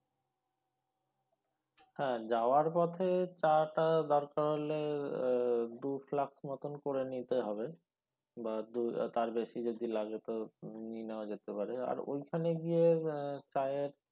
হ্যাঁ যাওয়ার পথে চা টা দরকার হলে দু flask মতন করে নিতে হবে বা দু তার বেশি যদি লাগে তো নিয়ে নেওয়া যেতে পারে আর ওইখানে গিয়ে আহ চায়ের